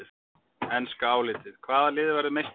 Enska álitið: Hvaða lið verður meistari?